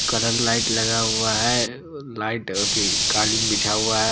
Colour light लगा हुआ है लाइट अ की कालीन बिछा हुआ है।